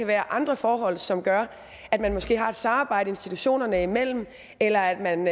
være andre forhold som gør at man måske har et samarbejde institutionerne imellem eller at man